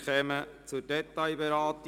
Wir kommen zur Detailberatung.